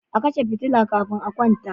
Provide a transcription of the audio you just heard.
A kashe fitila kafin a kwanta.